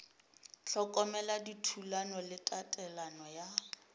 hlokomela dithulano le tatelelo ya